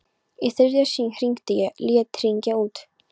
Í þriðja sinn hringdi ég, lét hringja út.